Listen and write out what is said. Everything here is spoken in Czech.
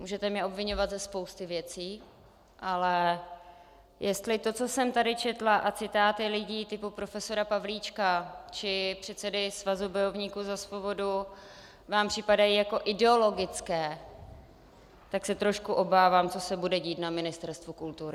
Můžete mě obviňovat ze spousty věcí, ale jestli to, co jsem tady četla, a citáty lidí typu profesora Pavlíčka či předsedy Svazu bojovníků za svobodu vám připadají jako ideologické, tak se trošku obávám, co se bude dít na Ministerstvu kultury.